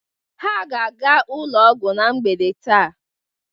Ha ga-aga ụlọ ọgwụ na mgbede taa.